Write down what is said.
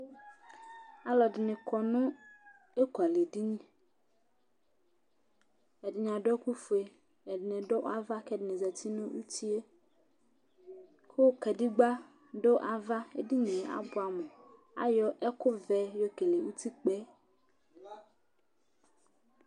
Alʋɛdɩnɩ kɔ nʋ ekualɛdini Ɛdɩnɩ adʋ ɛkʋfue Ɛdɩnɩ dʋ ava kʋ ɛdɩnɩ dʋ uti yɛ kʋ kadegbǝ dʋ ava, edini yɛ abʋɛamʋ Ayɔ ɛkʋvɛ yɔkele utikpǝ yɛ